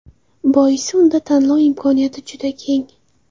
Boisi unda tanlov imkoniyati juda keng.